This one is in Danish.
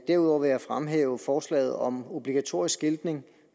derudover vil jeg fremhæve forslaget om obligatorisk skiltning